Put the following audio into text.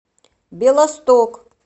белосток